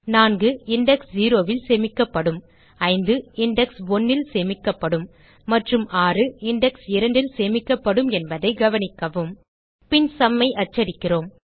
4 index 0ல் சேமிக்கப்படும் 5 index 1ல் சேமிக்கப்படும் மற்றும் 6 இண்டெக்ஸ் 2 ல் சேமிக்கப்படும் என்பதைக் கவனிக்கவும் பின் sumஐ அச்சடிக்கிறோம்